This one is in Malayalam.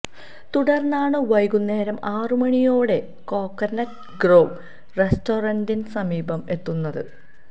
തുടര്ന്നാണ് വൈകുന്നേരം ആറുമണിയോടെ കോക്കനറ്റ് ഗ്രോവ് റെസ്റ്റോറന്റിന് സമീപം എത്തുന്നത്